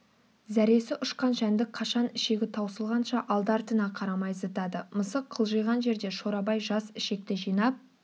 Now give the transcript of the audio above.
зәресі ұшқан жәндік қашан ішегі таусылғанша алды-артына қарамай зытады мысық қылжиған жерде шорабай жас ішекті жинап